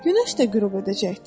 Günəş də qürub edəcəkdir.